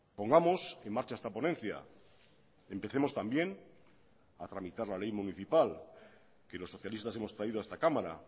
pongamos en marcha esta ponencia empecemos también a tramitar la ley municipal que los socialistas hemos traído a esta cámara